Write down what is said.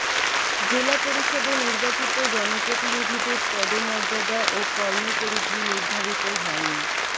জেলা পরিষদে নির্বাচিত জনপ্রতিনিধিদের পদমর্যাদা ও কর্মপরিধি নির্ধারিত হয়নি